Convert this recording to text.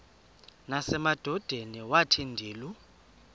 nasemadodeni wathi ndilu